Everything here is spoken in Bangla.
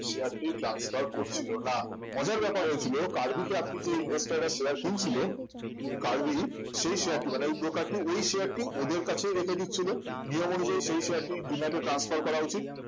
share টি transfer করছিল না মজার ব্যাপার হয়েছিল কার্ভিতে আপনি যে investor রা যে share কিনছিল কার্ভি সেই share টি মানে broker টি ওই share টি ওদের কাছে রেখে দিচ্ছিল নিয়ম অনুযায়ী সেই share টি demat এ transfer করা উচিত